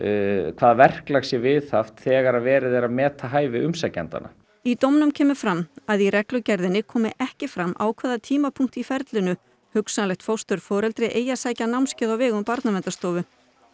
hvaða verklag sé viðhaft þegar verið er að meta hæfi umsækjendanna í dómnum kemur fram að í reglugerðinni komi ekki fram á hvaða tímapunkti í ferlinu hugsanlegt fósturforeldri eigi að sækja námskeið á vegum Barnaverndarstofu